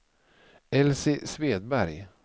Elsie Svedberg